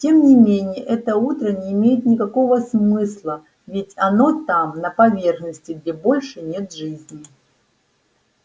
тем не менее это утро не имеет никакого смысла ведь оно там на поверхности где больше нет жизни